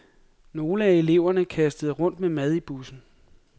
Nogle af eleverne kastede rundt med mad i bussen.